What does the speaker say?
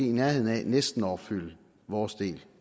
i nærheden af næsten at opfylde vores del